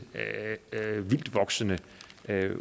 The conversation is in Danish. vildtvoksende